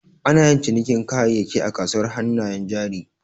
Anayin cinikin kayayyaki a kasuwar hannayen jari.